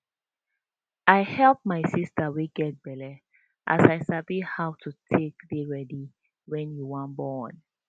i help my sister wey get belle as i sabi how to take dey ready wen you wan born